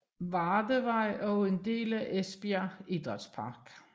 Vardevej og en del af Esbjerg Idrætspark